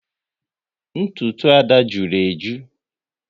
Ntụtụ Ada jụrụ eju